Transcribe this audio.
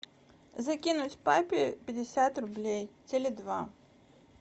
закинуть папе пятьдесят рублей теле два